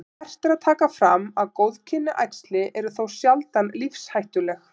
Vert er að taka fram að góðkynja æxli eru þó sjaldan lífshættuleg.